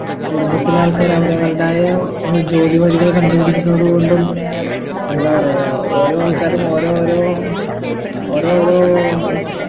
കുടുംബത്തിലാൾക്കാര്‌ അവരവരുടായ ഒരു ജോലിവഴികള് കണ്ടു പിടിക്കുന്നതു കൊണ്ടും എന്താ പറയാ ഓരോ ആൾക്കാരും ഓരോ ഓരോ ഓരോരോ